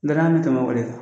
Garan tɛmɛ wole